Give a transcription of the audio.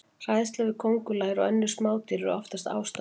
Hræðsla við köngulær og önnur smádýr er oftast ástæðulaus.